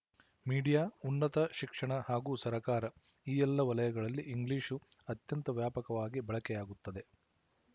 media ಉನ್ನತ ಶಿಕ್ಷಣ ಹಾಗೂ ಸರಕಾರ ಈ ಎಲ್ಲ ವಲಯಗಳಲ್ಲಿ ಇಂಗ್ಲಿಶು ಅತ್ಯಂತ ವ್ಯಾಪಕವಾಗಿ ಬಳಕೆಯಾಗುತ್ತದೆ